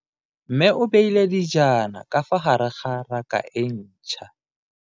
Mme o beile dijana ka fa gare ga raka e ntšha.